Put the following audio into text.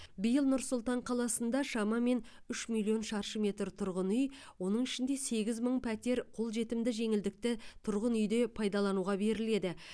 биыл нұр сұлтан қаласында шамамен үш миллион шаршы метр тұрғын үй оның ішінде сегіз мың пәтер қолжетімді жеңілдікті тұрғын үйде пайдалануға беріледі